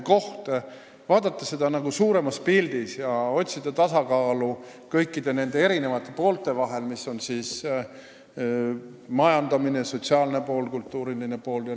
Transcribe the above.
Me tahame vaadata seda suuremas pildis ja otsida tasakaalu kõikide nende erinevate poolte vahel – need on siis majandamise pool, sotsiaalne pool ja kultuuriline pool.